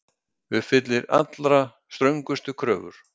Uppfyllir allra ströngustu kröfur